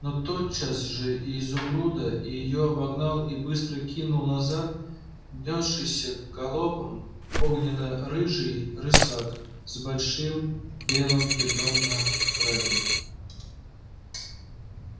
но тотчас же и изумруда и её обогнал и быстро кинул назад нёсшийся галопом огненно-рыжий рысак с большим белым пятном на храпе